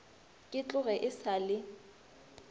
ke tloge e sa le